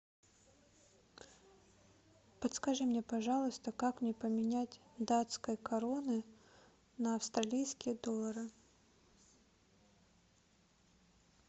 подскажи мне пожалуйста как мне поменять датской кроны на австралийские доллары